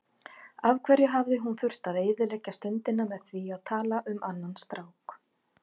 Af hverju hafði hún þurft að eyðileggja stundina með því að tala um annan strák.